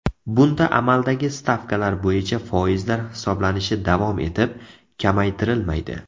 Bunda amaldagi stavkalar bo‘yicha foizlar hisoblanishi davom etib, kamaytirilmaydi.